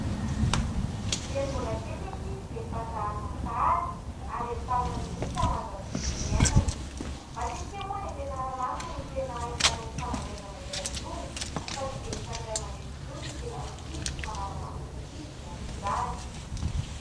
Dia ny mbola kely ny ankizy dia efa zarina sady ary entanina mihitsy hanaja ny tontolo iainana. Matetika moa any ampianarana no tena ahitana io fanabeazana iray io, fa tsy dia efa ny ray aman-dreny intsony no miteny ny akizy sy manara-maso ny ankizy ny amin'izany.